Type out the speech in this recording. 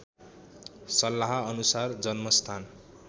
सल्लाह अनुसार जन्मस्थान